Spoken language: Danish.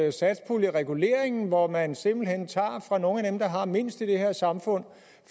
at satspuljereguleringen hvor man simpelt hen tager fra nogle af dem der har mindst i det her samfund